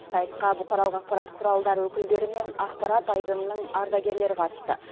сайысқа бұқаралық ақпарат құралдары өкілдері мен ақпарат айдынының ардагерлері қатысты